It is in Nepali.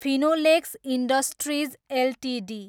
Finolex industries Ltd